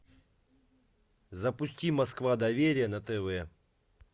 запусти москва доверие на тв